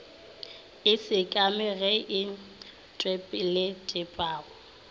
e sekamego ye e tpweletpago